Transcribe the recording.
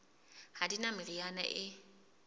ha di na meriana e